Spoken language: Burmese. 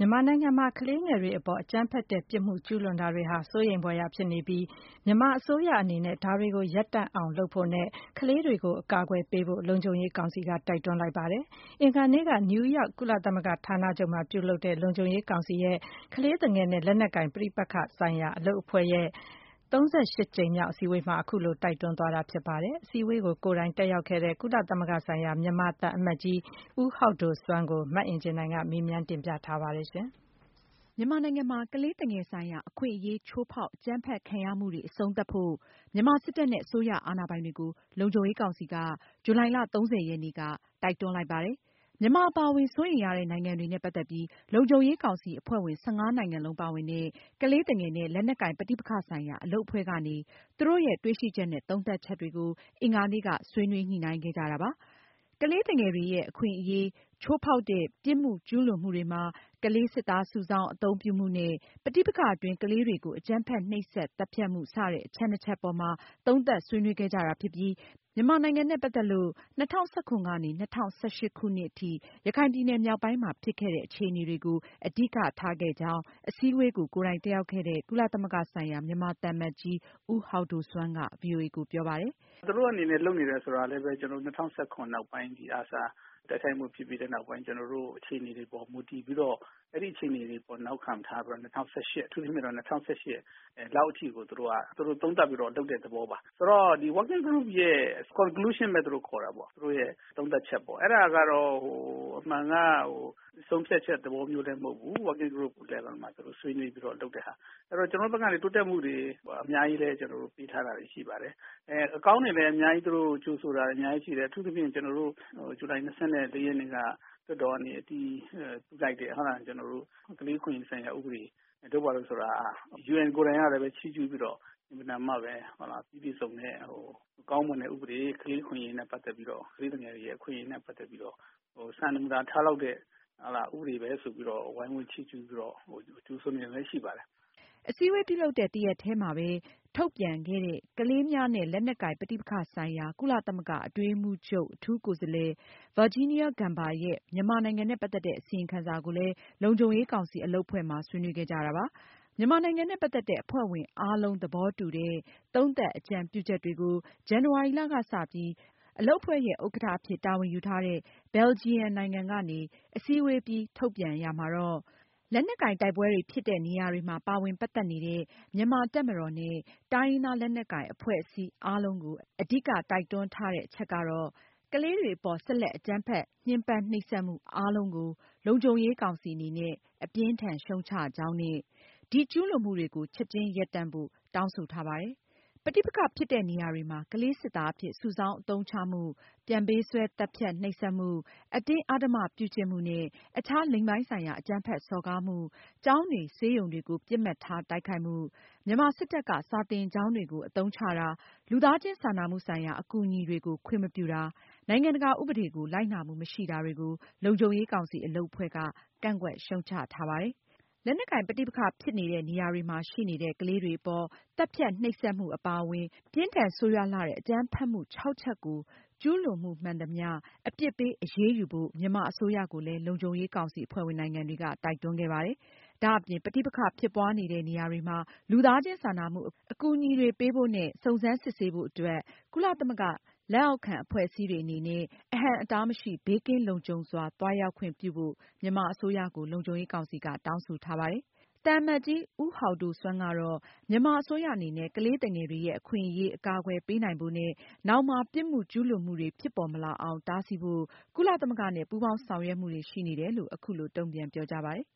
မြန်မာနိုင်ငံမှာ ကလေးသူငယ်တွေအပေါ် အကြမ်းဖက်တဲ့ ပြစ်မှုကျူးလွန်မှုတွေဟာ စိုးရိမ်ဖွယ်ရာ အခြေအနေရှိနေပြီး မြန်မာအစိုးရအနေနဲ့ ဒါတွေကို ရပ်တန့်အောင်လုပ်ဖို့နဲ့ ကလေးတွေကို အကာအကွယ်ပေးဖို့ လုံခြုံရေးကောင်စီက တိုက်တွန်းလိုက်ပါတယ်။ အင်္ဂါနေ့က နယူးယောက် ကုလသမဂ္ဂဌာနချုပ်မှာ ပြုလုပ်တဲ့ လုံခြုံရေးကောင်စီရဲ့ ကလေးသူငယ်နဲ့ လက်နက်ကိုင် ပဋိပက္ခ ဆိုင်ရာ အလုပ်အဖွဲ့ရဲ့ ၃၈ ကြိမ်မြောက် အစည်းအဝေးမှာ အဲဒီလို တိုက်တွန်းခဲ့တာဖြစ်ပြီး အစည်းအဝေးကို ကိုယ်တိုင် တက်ရောက်ခဲ့တဲ့ ကုလသမဂ္ဂဆိုင်ရာ မြန်မာသံအမတ်ကြီး ဦးဟောက်ဒိုဆွမ်းကို မအင်ကြင်းနိုင်က မေးမြန်းတင်ပြထားပါတယ်။ မြန်မာနိုင်ငံမှာ ကလေးသူငယ်ဆိုင်ရာ အခွင့်အရေး ချိုးဖောက်၊ အကြမ်းဖက်ခံရမှုတွေ အဆုံးသတ်ဖို့ မြန်မာစစ်တပ်နဲ့ အစိုးရ အာဏာပိုင်တွေကို လုံခြုံရေးကောင်စီက ဇူလိုင်လ (၃၀)ရက်နေ့ က တောင်းဆိုလိုက်တာပါ။ မြန်မာအပါအဝင် စိုးရိမ်ရတဲ့နိုင်ငံတွေ နဲ့ ပတ်သက်ပြီး လုံခြုံရေးကောင်စီ အ ဖဲ ွ့ဝင် ၁၅နိုင်ငံလုံး ပါဝင်တဲ့ ကလေးသူငယ်နဲ့ လက်နက်ကိုင် ပဋိပက္ခ ဆိုင်ရာ အလုပ်အဖွဲ့ကနေ သူတို့ရဲ့ တွေ့ရှိချက်နဲ့ သုံးသပ်ချက်တွေကို အင်္ဂါနေ့က ဆွေးနွေးညှိုနှိုင်းခဲ့ကြတာပါ။ ကလေးသူငယ်တွေရဲ့ အခွင့်အရေးချိုးဖောက်တဲ့ ပြစ်မှုကျူးလွန်မှုတွေမှာ ကလေးစစ်သား စုဆောင်း၊ အသုံးပြုမှုနဲ့ ပဋိပက္ခအတွင်း ကလေးတွေကို အကြမ်းဖက် နှိပ်စက် သတ်ဖြတ်မှု စတဲ့ အချက်နှစ်ချက်ပေါ်မှာ သုံးသပ်ဆွေးနွေးခဲ့ကြတာဖြစ်ပြီး မြန်မာနိုင်ငံနဲ့ ပတ်သက်လို့တော့ ၂၀၁၇-၂၀၁၈ခုနှစ်က ရခိုင်ပြည်နယ်မြောက်ပိုင်းမှာ ဖြစ်ခဲ့တဲ့ အခြေအနေတွေကို အဓိက ထားခဲ့ကြောင်း အစည်းအဝေးကို ကိုယ်တိုင်တက်ရောက်ခဲ့တဲ့ ကုလသမဂ္ဂဆိုင်ရာ မြန်မာသံအမတ်ကြီး ဦးဟောက်ဒိုဆွမ်းက ဗွီအိုအေကိုပြောပါတယ်။ “ သူတို့ အနေနဲ့ လုပ်နေတယ်ဆိုတာလည်းဘဲ ကျနော်တို့ ၂၀၁၇ ခုနှစ် နောက်ပိုင်း ဒီ ARSA တိုက်ခိုက်မှု ဖြစ်ပြီး နောက်ပိုင်း ကျနော်တို့ အခြေအနေတွေ အပေါ် မူတည်ပြီးတော့ အဲဒီ အခြေအနေတွေ အပေါ် နောက်ခံထားပြီးတော့ ၂၀၁၈ အထူးသဖြင့်တော့ ၂၀၁၈ လောက် အထိကို သူတို့က သုံးသပ်ပြီးတော့ လုပ်တဲ့ သဘောပါ။ ဆိုတော့ ဒီ Working Group ရဲ့ Conclusion Method လို့ ခေါ်တာပေါ့ သူတို့ရဲ့ သုံးသပ်ချက်ပေါ့ အဲဒါ ကတော့ အမှန်က ဆုံးဖြတ်ချက် သဘောမျိုးလည်း မဟုတ်ဘူး၊ Working Group Level မှာ သူတို့ ဆွေးနွေးပြီးတော့ လုပ်တဲ့ဟာ။ ကျနော်တို့ဘက်က တိုးတက်မှုတွေ အများကြီးလည်း ကျနော်တို့ ပေးထားတာတွေ ရှိပါတယ်။ အကောင်းတွေလည်း အများကြီး သူတို့ကို ကြိုဆိုတာတွေ အများကြီး ရှိတယ်။ အထူးသဖြင့် ဇူလိုင် ၂၁ ရက်နေ့က လွှတ်တော်ကနေ အတည်ပြုလိုက်တဲ့ ကလေးအခွင့်အရေးဆိုင်ရာ ဥပဒေ တို့ ဘာတို့ဆိုတာ UN ကိုယ်တိုင်ကလည်း ချီးကျူးပြီးတော့ အင်မတန်မှ ပြီးပြည့်စုံတဲ့ ကောင်းမွန်တဲ့ ဥပဒေ။ ကလေး အခွင့်အရေးနဲ့ ပတ်သက်ပြီးတော့ ကလေးသူငယ်တွေရဲ့ အခွင့်အရေးနဲ့ ပတ်သက်ပြီးတော့ စံနမူနာ ထားလောက်တဲ့ ဥပဒေဘဲ ဆိုပြီးတော့ ဝိုင်းဝန်း ချီးကျူးပြီးတော့ ကြိုဆိုနေတာတွေလည်း ရှိပါတယ်။ ” အစည်းအဝေးပြုလုပ်တဲ့ တရက်တည်းမှာပဲ ထုတ်ပြန်ခဲ့တဲ့ ကလေးများနဲ့ လက်နက်ကိုင် ပဋိပက္ခဆိုင်ရာ ကုလသမဂ္ဂ အတွင်းရေးမှူးချုပ် အထူးကိုယ်စားလှယ် Virginia Gamba ရဲ့ မြန်မာနိုင်ငံနဲ့ ပတ်သက်တဲ့ အစီရင်ခံစာကိုလည်း လုံခြုံရေးကောင်စီ အလုပ်အဖွဲ့မှာ ဆွေးနွေးခဲ့ကြတာပါ။ မြန်မာနိုင်ငံနဲ့ ပတ်သက်တဲ့ အဖွဲ့ဝင်အားလုံး သဘောတူတဲ့ သုံးသပ်အကြံပြုချက်တွေကို ဇန်နဝါရီလက စပြီး အလုပ်အဖွဲ့ရဲ့ ဥက္ကဌအဖြစ် တာဝန်ယူထားတဲ့ Belgian နိုင်ငံကနေ အစည်းအဝေးအပြီး ထုတ်ပြန်ချက်မှာတော့- လက်နက်ကိုင် တိုက်ပွဲတွေဖြစ်နေတဲ့နေရာတွေမှာ ပါဝင် ပတ်သက်နေတဲ့ မြန်မာတပ်မတော်နဲ့ တိုင်းရင်းသားလက်နက်ကိုင် အဖွဲ့အစည်းအားလုံးကို အဓိက တိုက်တွန်းထားတဲ့ အချက်တွေထဲမှာ- ကလေးတွေအပေါ် ဆက်လက်အကြမ်းဖက် ညှဉ်းပန်း နှိပ်စက်မှု အားလုံးကို လုံခြုံရေးကောင်စီ အနေနဲ့ အပြင်းအထန် ရှုတ်ချကြောင်းနဲ့ ဒီကျူးလွန်မှုတွေကို ချက်ချင်းရပ်တန့်ဖို့ တောင်းဆိုထားပါတယ်။ ပဋိပက္ခဖြစ်နေတဲ့ နေရာတွေမှာ ကလေးစစ်သားအဖြစ် စုဆောင်းအသုံးချမှု၊ ပြန်ပေးဆွဲ၊ သတ်ဖြတ်၊ နှိပ်စက်မှု၊ အတင်းအဓမ္မပြုကျင့်မှုနဲ့ အခြား လိင်ပိုင်းဆိုင်ရာ အကြမ်းဖက်စော်ကားမှု၊ ကျောင်းတွေ၊ ဆေးရုံတွေကို ပစ်မှတ်ထား တိုက်ခိုက်မှု၊ မြန်မာစစ်တပ်က စာသင်ကျောင်းတွေကို အသုံးချတာ၊ လူသားချင်းစာနာမှုဆိုင်ရာ အကူအညီတွေကို ခွင့်မပြုတာ၊ နိုင်ငံတကာဥပဒေကို လိုက်နာမှုမရှိတာတွေကို လုံခြုံရေးကောင်စီ အလုပ်အဖွဲ့က ကန့်ကွက်ရှုတ်ချထားပါတယ်။ လက်နက်ကိုင်ပဋိပက္ခဖြစ်နေတဲ့ နေရာတွေမှာရှိနေတဲ့ ကလေးတွေအပေါ် သတ်ဖြတ်၊ နှိပ်စက်မှု အပါအဝင် ပြင်းထန်ဆိုးရွာလှတဲ့ အကြမ်းဖက်မှု (၆)ချက်ကို ကျူးလွန်မှုမှန်သမျှ အပြစ်ပေးအရေးယူဖို့ မြန်မာအစိုးရကိုလည်း လုံခြုံရေးကောင်စီ အဖွဲ့ဝင်နိုင်ငံတွေက တိုက်တွန်းခဲ့ပါတယ်။ ဒါအပြင် ပဋိပက္ခဖြစ်ပွားနေတဲ့နေရာတွေမှာ လူသားချင်း စာနာမှု အကူအညီတွေပေးဖို့၊ စုံစမ်းစစ်ဆေးဖို့အတွက် ကုလသမဂ္ဂ လက်အောက်ခံ အဖွဲ့အစည်းတွေအနေနဲ့ အဟန့်အတားမရှိ၊ ဘေးကင်းလုံခြုံစွာ သွားရောက်ခွင့် ပြုဖို့ မြန်မာအစိုးရကို လုံခြုံရေးကောင်စီက တောင်းဆိုထားတယ်။ သံအမတ်ကြီး ဦးဟောက်ဒိုဆွမ်းကတော့ မြန်မာအစိုးရအနေနဲ့ ကလေးသူငယ်တွေရဲ့ အခွင့်အရေးအကာအကွယ်ပေးနိုင်ဖို့နဲ့ နောင်မှာ ပြစ်မှုကျူးလွန်မှုတွေ ဖြစ်ပေါ်မလာအောင် တားဆီးဖို့ ကုလသမဂ္ဂနဲ့ ပူးပေါင်းဆောင်ရွက်မှုတွေ ရှိနေတယ်လို့ အခုလို တုန့်ပြန်ပြောကြားပါတယ်။